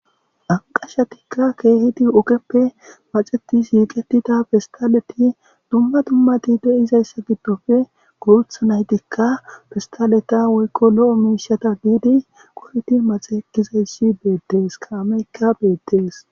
anqashatikka keehidi ogeppe maxeti shiiqetida pestaleti dumma dummati de7izayssa giddofe gurutha naytikka fistaleta woykko lo7o miishata biidi qoridi maxe ekkizayssi beettees kaameykka beettees.